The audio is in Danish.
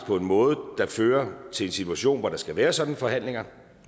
på en måde der fører til en situation hvor der skal være sådanne forhandlinger